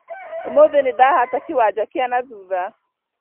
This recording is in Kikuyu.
ũmũthĩ nĩndahata kĩwanja kĩa nathutha